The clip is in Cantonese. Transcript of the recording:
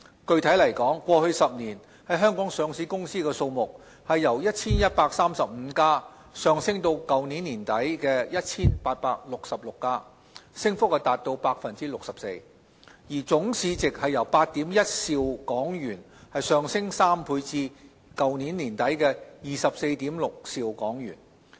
具體來說，過去10年，在香港上市的公司數目由 1,135 家上升至去年年底 1,866 家，升幅達 64%， 而總市值則由8兆 1,000 億港元上升3倍至去年年底24兆 6,000 億港元。